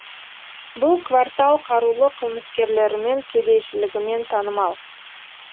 бұл квартал қарулы қылмыскерлерімен кедейшілігімен танымал